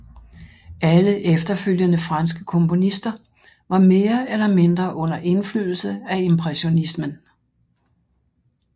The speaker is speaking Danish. Alle efterfølgende franske komponister var mere eller mindre under indflydelse af impressionismen